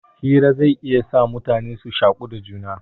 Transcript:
Hira zai iya sa mutane su shaku